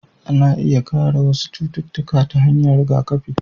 Ana iya kare wasu cututtuka ta hanyar rigakafi,